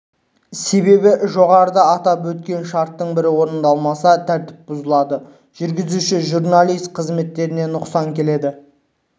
себебі жоғарыда аталып өткен шарттың бірі орындалмаса тәртіп бұзылады жүргізуші-журналист қызметіне нұқсан келеді